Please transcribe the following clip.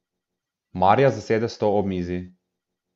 Marja zasede stol ob mizi.